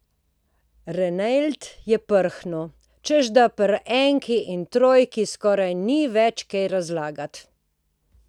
Ranelid je prhnil, češ da pri enki in trojki skoraj ni več kaj razlagati.